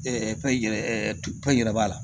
tɔn in yɛrɛ tɔn in yɛrɛ b'a la